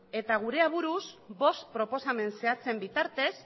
eta gure aburuz bost proposamen zehatzen bitartez